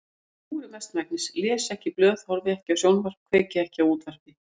Ég kúri mestmegnis, les ekki blöð, horfi ekki á sjónvarp, kveiki ekki á útvarpi.